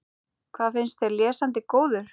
Hvað finnst þér, lesandi góður?